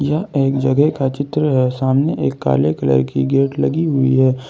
एक जगह का चित्र है सामने एक काले कलर की गेट लगी हुई है ।